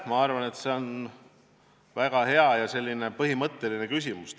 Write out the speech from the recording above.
Ma arvan, et see on väga hea ja põhimõtteline küsimus.